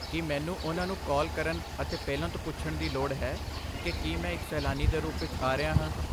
ਕੀ ਮੈਨੂੰ ਉਹਨਾਂ ਨੂੰ ਕਾਲ ਕਰਨ ਅਤੇ ਪਹਿਲਾਂ ਤੋਂ ਪੁੱਛਣ ਦੀ ਲੋੜ ਹੈ ਕਿ ਕੀ ਮੈਂ ਇੱਕ ਸੈਲਾਨੀ ਦੇ ਰੂਪ ਵਿੱਚ ਆ ਰਿਹਾ ਹਾਂ?